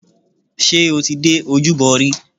Ṣé o ti dé ojúbọ rí?